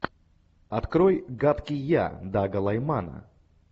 открой гадкий я дага лаймана